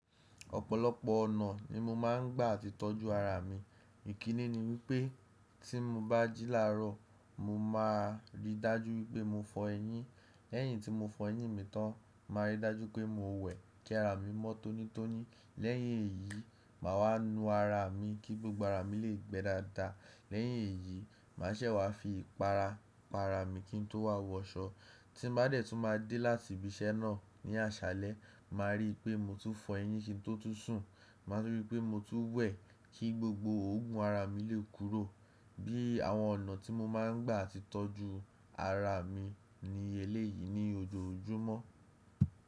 Ọ̀pọ̀lọpọ̀ ọ̀nà ni mo máa ń gbà ti tọ́jú ara mi. Ìkíni ni wípé tí mo bá jíláró, mo máa rí dájú wípé mo fọ eyín. Lẹ́yìn tí mo fọ eyín mi tán, màá rí dájú pé mo wẹ̀ kí ara mi mọ́ tónítóní. Lẹ́yìn èyí, mà wá nu ara mi kí gbogbo ara mi lè gbẹ́ dáadáa. Lẹ́yìn èyí, màá ṣẹ̀ wá fi ìpara pa ara mi kí n tó wa wọ aṣọ. Tí n bá dẹ̀ tún máa dé láti ibi iṣẹ́ náà ní àṣálẹ́, màá rí i pé mo tun fọ eyín kí n tó tún sùn. Màá rí i pé mo tun wẹ̀ kí gbogbo ògùn ara mi lè kúrò. Bí àwọn ọ̀nà tí mo máa ń gbà ti tọ́jú ara mi ni eléyìí ní ojoojúmọ́.